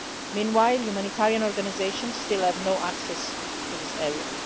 Meanwhile, humanitarian organisations still have no access to this area.